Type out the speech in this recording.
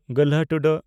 ᱹ